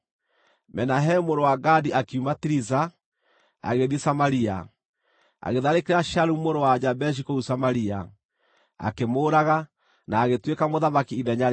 Menahemu mũrũ wa Gadi akiuma Tiriza, agĩthiĩ Samaria. Agĩtharĩkĩra Shalumu mũrũ wa Jabeshi kũu Samaria, akĩmũũraga, na agĩtuĩka mũthamaki ithenya rĩake.